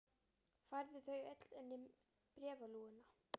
Færðu þau öll inn um bréfalúguna?